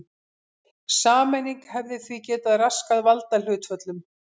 Sameining hefði því getað raskað valdahlutföllum.